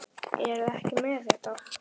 Eruð þið ekki með þetta?